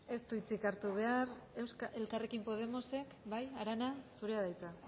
ez du hitzik hartu behar elkarrekin podemosek bai arana zurea da hitza